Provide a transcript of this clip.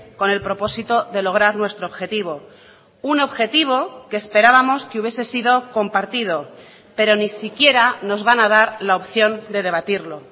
con el propósito de lograr nuestro objetivo un objetivo que esperábamos que hubiese sido compartido pero ni siquiera nos van a dar la opción de debatirlo